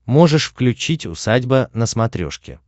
можешь включить усадьба на смотрешке